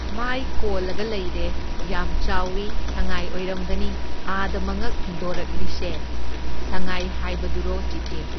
ꯃꯥꯏ ꯀꯣꯜꯂꯒ ꯂꯩꯔꯦ, ꯌꯥꯝ ꯆꯥꯎꯢ, ꯁꯪꯉꯥꯏ ꯑꯣꯏꯔꯝꯒꯅꯤ ꯑꯥꯗ ꯃꯉꯛ ꯊꯤꯟꯗꯣꯔꯛꯂꯤꯁꯦ, ꯁꯪꯉꯥꯏ ꯍꯥꯏꯕꯗꯨꯔꯣ ꯆꯤꯆꯦ?